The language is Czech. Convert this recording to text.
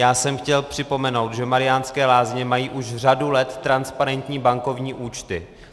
Já jsem chtěl připomenout, že Mariánské Lázně mají už řadu let transparentní bankovní účty.